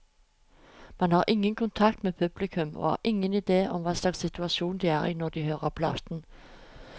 Man har ingen kontakt med publikum, og har ingen idé om hva slags situasjon de er i når de hører platen.